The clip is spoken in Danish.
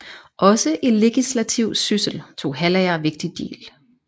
Også i legislativ syssel tog Hallager vigtig del